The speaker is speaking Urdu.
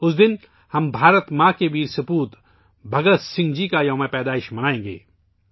اس دن ہم بھارت ماتا کے بہادر بیٹے بھگت سنگھ جی کا یوم پیدائش منائیں گے